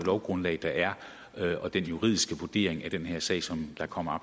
lovgrundlag der er og den juridiske vurdering af den her sag som kommer